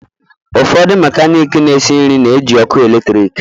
Ụfọdụ mekaniki na-esi nri na-eji ọkụ eletrik.